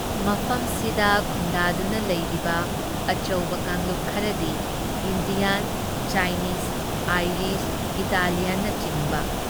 ꯃꯐꯝꯁꯤꯗ ꯈꯨꯟꯗꯥꯗꯨꯅ ꯂꯩꯔꯕ ꯑꯆꯧꯕ ꯀꯥꯡꯂꯨꯞ ꯈꯔꯗꯤ ꯏꯟꯗꯤꯌꯥꯟ, ꯆꯥꯏꯅꯤꯖ, ꯑꯥꯏꯔꯤꯁ, ꯏꯇꯥꯂꯤꯌꯥꯟꯅꯆꯤꯡꯕ ꯫